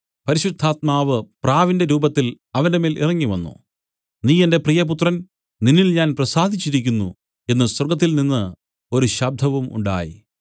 പരിശുദ്ധാത്മാവ് പ്രാവിന്റെ രൂപത്തിൽ അവന്റെമേൽ ഇറങ്ങിവന്നു നീ എന്റെ പ്രിയപുത്രൻ നിന്നിൽ ഞാൻ പ്രസാദിച്ചിരിക്കുന്നു എന്നു സ്വർഗ്ഗത്തിൽനിന്നു ഒരു ശബ്ദവും ഉണ്ടായി